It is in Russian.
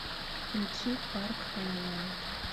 включи парк хайленд